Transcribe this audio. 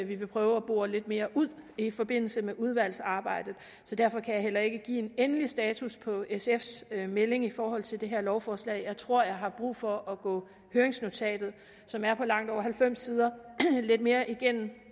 vi vil prøve at bore lidt mere ud i forbindelse med udvalgsarbejdet så derfor kan jeg heller ikke give en endelig status på sfs melding i forhold til det her lovforslag jeg tror jeg har brug for at gå høringsnotatet som er på langt over halvfems sider lidt mere igennem